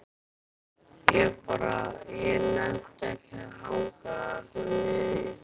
Ég bara. ég nennti ekki að hanga þarna niðri.